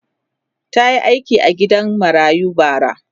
ta Yi aiki a gidan marayu bara